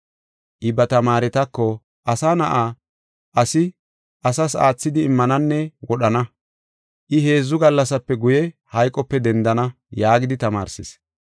I ba tamaaretako, “Asa Na7aa, asi asas aathidi immananne wodhana; I heedzu gallasape guye, hayqope dendana” yaagidi tamaarsees.